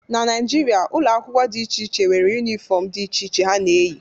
na Naijiria, ụlọ akwụkwọ dị iche iche nwere yunifọm dị iche iche ha na-eyi